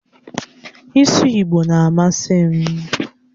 Ịsụ Igbo na-amasị m